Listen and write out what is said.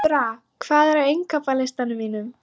Náttúra, hvað er á innkaupalistanum mínum?